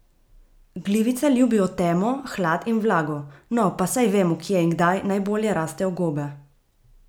Glivice ljubijo temo, hlad in vlago, no, pa saj vemo, kje in kdaj najbolje rastejo gobe!